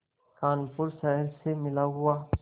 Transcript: कानपुर शहर से मिला हुआ